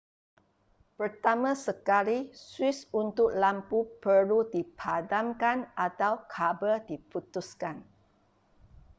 pertama sekali suis untuk lampu perlu dipadamkan atau kabel diputuskan